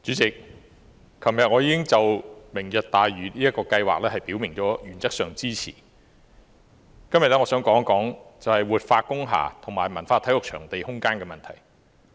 主席，昨天我已表明了原則上支持"明日大嶼"這項計劃，今天我想講一講活化工廈和文化體育場地空間的問題。